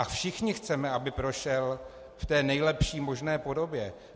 A všichni chceme, aby prošel v té nejlepší možné podobě.